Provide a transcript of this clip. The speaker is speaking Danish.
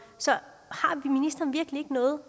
så har ministeren virkelig ikke noget